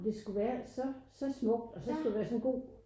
Det skulle være så så smukt og så skulle der være sådan en god